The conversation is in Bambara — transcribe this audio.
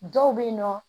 Dɔw bɛ yen nɔ